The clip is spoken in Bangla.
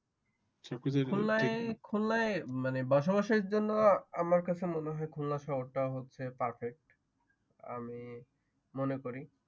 খুলনায় খুলনায় মানে বসবাসের জন্য আমার কাছে মনে হয় খুলনা শহরটা হচ্ছে Perfect আমি মনে করি